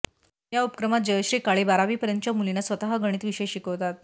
या उपक्रमात जयश्री काळे बारावीपर्यंतच्या मुलींना स्वतः गणित विषय शिकवतात